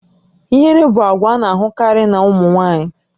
Ihere bụ àgwà a na-ahụkarị na ụmụ nwaanyị